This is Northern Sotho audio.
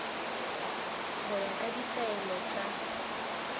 go ya ka ditaelo tša